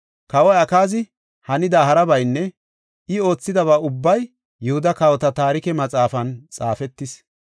Kawoy Akaazi hanida harabaynne I oothidaba ubbay Yihuda Kawota Taarike Maxaafan xaafetis.